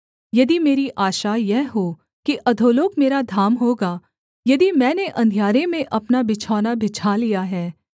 यदि मेरी आशा यह हो कि अधोलोक मेरा धाम होगा यदि मैंने अंधियारे में अपना बिछौना बिछा लिया है